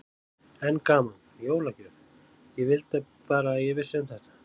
Enn gaman, jólagjöf, ég vildi bara að ég vissi um þetta.